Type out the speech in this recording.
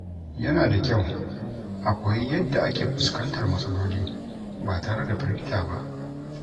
Yana da kyau a koyi yadda ake fuskantar matsaloli ba tare da firgita ba.